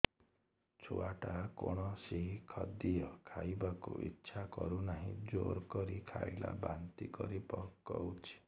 ଛୁଆ ଟା କୌଣସି ଖଦୀୟ ଖାଇବାକୁ ଈଛା କରୁନାହିଁ ଜୋର କରି ଖାଇଲା ବାନ୍ତି କରି ପକଉଛି